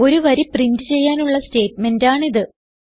ഒരു വരി പ്രിന്റ് ചെയ്യാനുള്ള സ്റ്റേറ്റ്മെന്റാണിത്